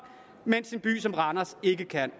mens en by som randers ikke kan